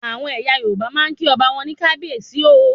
Àwọn ẹyà Yorùbá máa ń kí ọba wọn ní "kabiesi o"